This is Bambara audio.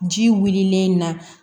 Ji wililen na